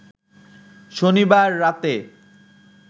শনিবার রাতে